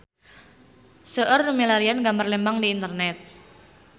Seueur nu milarian gambar Lembang di internet